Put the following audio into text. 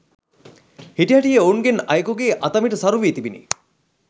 හිටිහැටියේ ඔවුන්ගෙන් අයෙකුගේ අතමිට සරුවී තිබිණි.